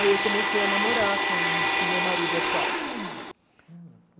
Aí eu comecei a namorar com, com o meu marido atual.